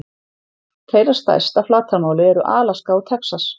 Þeirra stærst að flatarmáli eru Alaska og Texas.